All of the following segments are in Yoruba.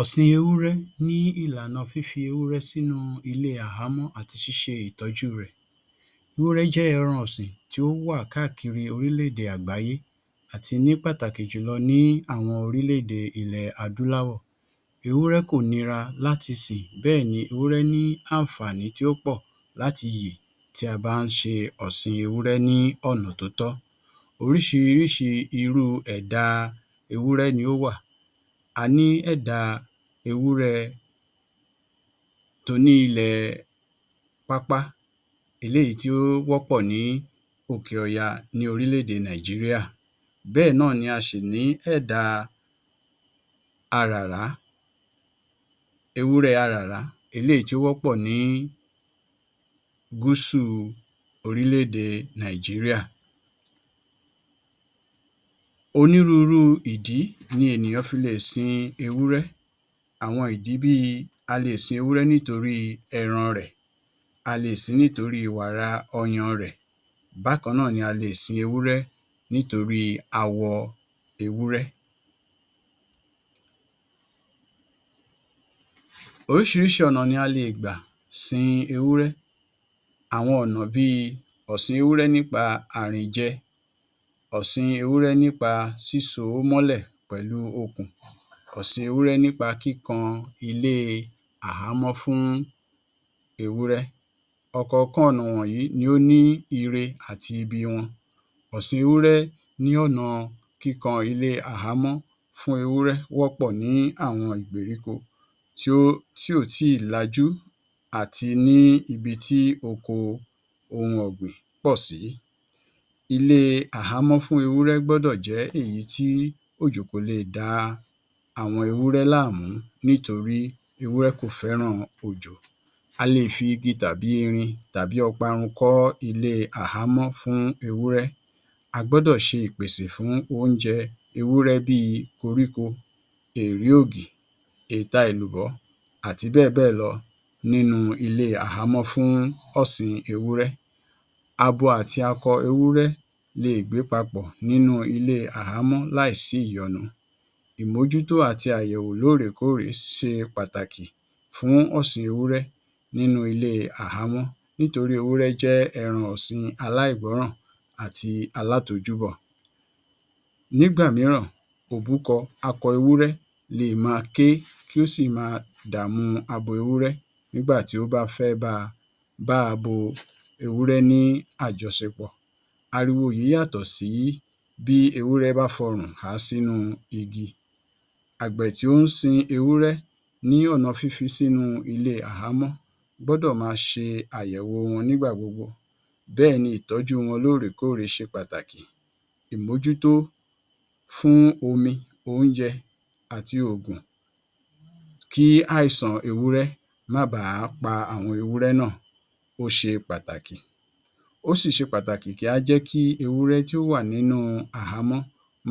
Ọ̀sìn ewúrẹ́ nípa fífi ewúrẹ́ sinú ilé àhámọ́ àti ṣíṣe ìtọ́jú rẹ̀. Ewúrẹ́ jẹ́ ẹran ọ̀sìn tí ó wà káàkiri orílẹ̀-èdè àgbáyé àti ní pàtàkì jùlọ ní àwọn orílẹ̀-èdè ilẹ̀ adúláwọ̀. Ewúrẹ́ kò nira láti sìn. Bẹ́ẹ̀ ni ewúrẹ́ nih àǹfàání tí ó pọ̀ láti yè tí a bá ń ṣe ọ̀sìñ ewúrẹ́ ní ọ̀nà tó tọ́. Oríṣiríṣi irú ẹ̀dà ewúrẹ́ ni ó wà. A ní ẹ̀dà ewúrẹ́ to ní ilẹ̀ pápá. Eléyìí tí ó wọ́pọ̀ ní òkè ọya ní orílẹ̀-èdè Nàìjìríà. Bẹ́ẹ̀ náà ni a ṣì ní ẹ̀dà aràrá ewúrẹ́ aràrá. Eléyìí tí ó wọ́pọ̀ ní gúsù orílẹ̀-èdè Nàìjìríà. Onírúurú ìdí ni ènìyàn fi le è sin ewúrẹ́; àwọn ìdí bí i, a le è sin ewúrẹ́ nítorí ẹran rè; a le è sin ewúrẹ́ nítorí wàrà ọyàn rẹ̀. Bákan náà ni a le è sin ewúrẹ́ nítorí awọ ewúrẹ́. Oríṣiríṣi ọ̀nà ni a le è gbà sin ewúrẹ́. Àwọn ọ̀nà bí i ọ̀ṣìn ewúrẹ́ bí i àrìnjẹ, ọ̀sìn ewúrẹ́ nípa sísóo mọ́lẹ̀ pẹ̀lú okùn, ọ̀sìn ewúrẹ́ nípa kíkan ilé àhámọ́ fún ewúrẹ́. Ọ̀kọ̀ọ̀kan ọ̀nà wọ̀nyí ní ire àti ibi wọn. Ọ̀sìn ewúrẹ́ ní ọ̀nà kíkan ilé àhámọ́ fún ewúrẹ́ wọ́pọ̀ ní àwọn ìgbèríko tì ò tíì lajú àti ní ibi tí oko ohun ògbìn pọ̀ sí. Ilé àhámọ́ fún ewúrẹ́ gbọ́dọ̀ jẹ́ èyì tí òjò kò le è da àwọn ewúrẹ́ láàmú nítorí ewúrẹ́ kò fẹ́ràn òjò. A le è fi igi tàbí irin tàí ọparun kọ́ ilé àhámọ́ fún ewúrẹ́. A gbọ́dọ̀ ṣẹ ìpèsè fún oúnjẹ ewúrẹ́ bí i koríko, èèrí ògì, èta èlùbọ́ àti bẹ́ẹ̀ bẹ́ẹ̀ lọ nínú ilé àhámọ́ fún ọ̀sìn ewúrẹ́. Abo àti akọ ewúrẹ́ le è gbé papọ̀ ní ilé àhámọ́ láìsí ìyọnu. Ìmójútó àti lóòrèkóòrè ṣe pàtàkì fún ọ̀sìn ewúrẹ́ nínú ilé àhámọ́ nítorí ewúrẹ́ jẹ́ ẹran ọ̀sìn aláìgbọ́ràn àti alátojúbọ̀. Nígbà mìíràn òbúkọ le è máa ké kí ó sì máa dààmú abo ewúrẹ́ nígbà tí ó bá fẹ́ bá abo ewúrẹ́ ní àjọṣepọ̀. Ariwo yìí yàtọ̀ sí bí ewúrẹ́ bá fọrùn há sínú igi. Àgbẹ̀ tí ó ń sin ewúrẹ́ ní ọ̀nà fífi sínú ilé àhámọ́ gbọ́dọ̀ máa ṣe àyẹ̀wò wọn nígbà gbogbo. Bẹ́ẹ̀ ni ìtọ́jú wọn lóòrèkóòrè ṣe pàtàkì. Ìmójútó fún omi, oúnjẹ àti òògùn kí àìsàn ewúrẹ́ má baà pa àwọn ewúrẹ́ náà ó ṣe pàtàkì. Ó sì ṣe pàtàkì kí á jẹ́ kí ewúrẹ́ tí ó wà nínú àhámọ́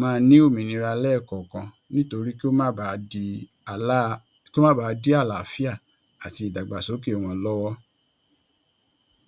máa ní òmìnira lẹ́ẹ̀kọ̀ọ̀kan nítorí kí ó bàá dí àlàáfíà àti ìdàgbàsókẹ̀ wọn lọ́wọ́.